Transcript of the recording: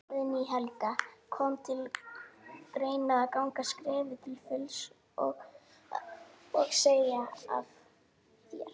Guðný Helga: Kom til greina að ganga skrefið til fulls og, og segja af þér?